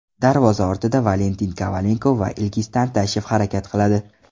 Darvoza ortida Valentin Kovalenko va Ilgiz Tantashev harakat qiladi.